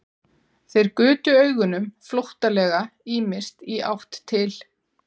Þeir gutu augunum flóttalega ýmist í átt til